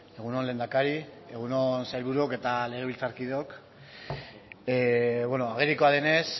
egun on lehendakari egun on sailburuok eta legebiltzarkideok agerikoa denez